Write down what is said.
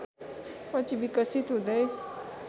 पछि विकसित हुँदै